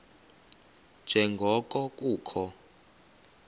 nje ngoko kukho